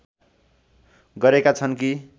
गरेका छन् कि